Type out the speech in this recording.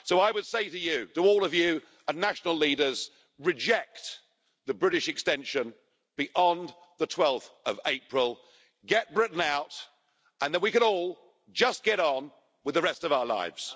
So I would say to all of you, and to the national leaders reject the British extension beyond 12 April, get Britain out, and then we can all just get on with the rest of our lives.